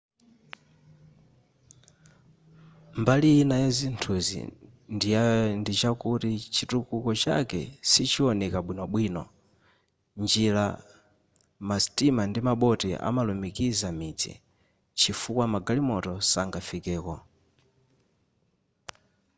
mbali ina yazinthuzi ndichakuti chitukuko chake sichioneka bwinobwino njira masitima ndi maboti amalumikiza midzi chifukwa magalimoto sangafikeko